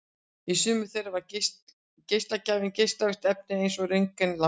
Í sumum þeirra er geislagjafinn geislavirkt efni en ekki röntgenlampi.